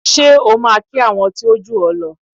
Ṣé o máa kí àwọn tí ó jù ọ́ lọ?